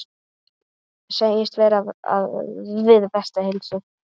Segist vera við bestu heilsu.